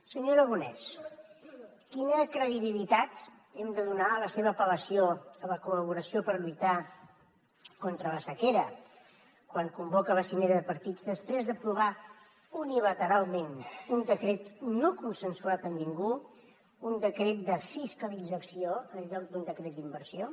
senyor aragonès quina credibilitat hem de donar a la seva apel·lació a la col·laboració per lluitar contra la sequera quan convoca la cimera de partits després d’aprovar unilateralment un decret no consensuat amb ningú un decret de fiscalització en lloc d’un decret d’inversió